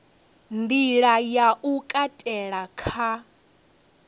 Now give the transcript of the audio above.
nḓila ya u katela kha